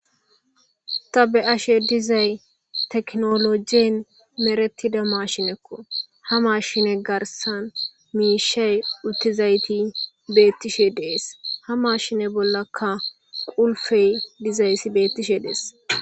ta be7ashe dizay teknolojien meretida mashinekko ha mashine garsan miishey uttizayti beettishe dees ha mashine bollaka ulfey dizaysi beettishe dees